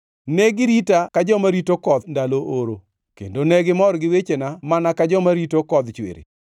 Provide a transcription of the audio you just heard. Ne girita ka joma rito koth ndalo oro, kendo negimor gi wechena mana ka joma rito kodh chwiri.